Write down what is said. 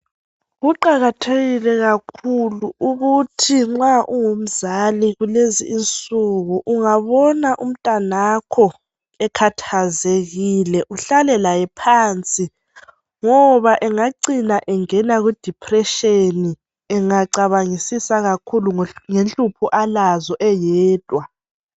Kuqakathekile kakhulu ukuthi nxa ungumzali kulezi insuku ukuthi ungabona umntanakho ekhathazekile uhlale laye phansi ngoba engacina engena kudepression engacabangisisa kakhulu ngenhlupho alazo eyedwa.